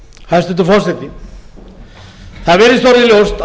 hæstvirtur forseti hæstvirtur forseti það virðist orðið ljóst